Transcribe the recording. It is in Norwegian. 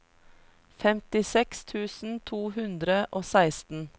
femtiseks tusen to hundre og seksten